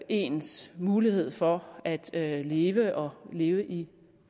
ens mulighed for at leve og leve i